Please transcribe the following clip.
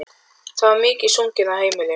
Það var mikið sungið á heimilinu.